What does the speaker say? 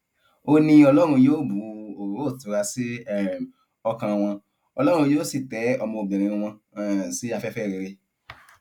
ó ní ọlọrun yóò bu òróró ìtura sí um ọkàn wọn ọlọrun yóò sì tẹ ọmọbìnrin wọn um sí afẹfẹ rere